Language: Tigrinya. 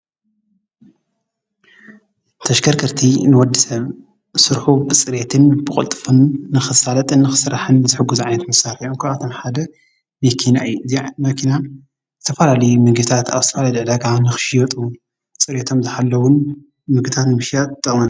ተሽከርከርቲ ንወድ ሰብ ሱርሑ ብጽሬትን ብቕልጥፍን ንኽሳለጥን ኽሥራሕን ዘሕጐዝዓነት ምሳር እዮም። እንኳኣቶም ሓደ ንኪናይ እዚዕ መኪና ዝተፋላሊ ምግታት ኣውስትራልያ ድዕዳ ግዓ ንኽሽየጡ ጽሬቶም ዝሃለውን ምግታት ምሽያት ተጠውነ።